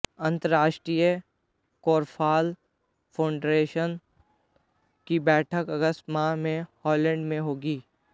अंतरराष्ट्रीय korfball federation की बैठक अगस्त माह में हॉलैंड में होगी